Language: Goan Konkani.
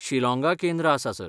शिलाँगा केंद्र आसा सर.